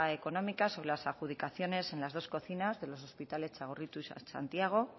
económica sobre las adjudicaciones en las dos cocinas de los hospitales txagorritxu y santiago